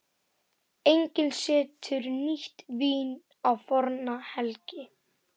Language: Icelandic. Enginn setur nýtt vín á forna belgi.